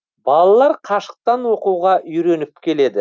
балалар қашықтан оқуға үйреніп келеді